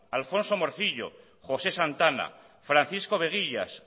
alfonso morcillo josé santana francisco veguillas